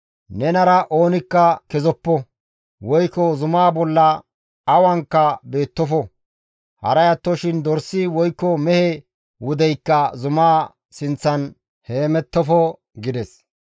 Nenara oonikka kezoppo; woykko zumaa bolla awanka beettofo; haray attoshin dorsi woykko mehe wudeykka zumaa sinththan heemettofo» gides.